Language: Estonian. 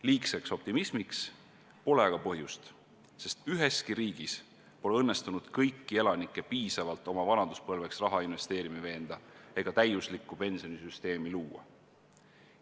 Liigseks optimismiks pole aga põhjust, sest üheski riigis pole õnnestunud kõiki elanikke piisavalt oma vanaduspõlveks raha investeerima veenda ega täiuslikku pensionisüsteemi luua.